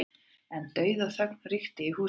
En dauðaþögn ríkti í húsinu.